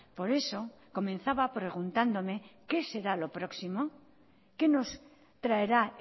por eso comenzaba preguntándome qué será lo próximo qué nos traerá